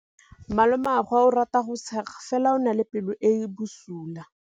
Malomagwe o rata go tshega fela o na le pelo e e bosula.